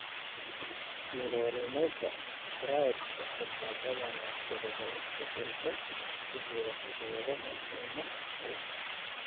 Currarinoga triadka waxaa badanaa sababa isbeddellada ku jira hidda-wadaha MNX hal.